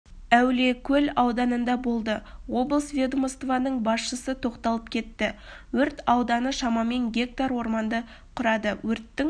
әулиекөл ауданында болды облыс ведомствосының басшысы тоқталып кетті өрт ауданы шамамен гектар орманды құрады өрттің